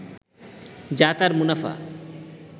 যা তার মুনাফা